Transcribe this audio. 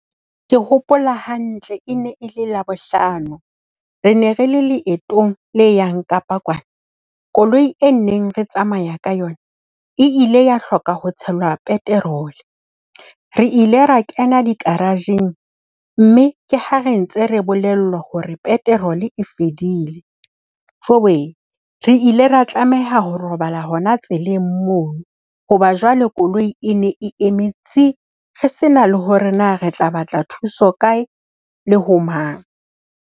Ke hopola hantle. E ne e le Labohlano, re ne re le leetong le yang Kapa kwana. Koloi e neng re tsamaya ka yona e ile ya hloka ho tshela petrol. Re ile ra kena di-garage-ng mme ke ha re ntse re bolella hore petrol e fedile. Jowee, re ile ra tlameha ho robala hona tseleng moo. Hoba jwale koloi e ne e eme tsi! Re se na le hore na re tla batla thuso kae le ho mang.